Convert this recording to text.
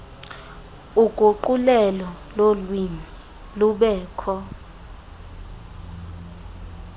uguqulelo lolwimi lubekho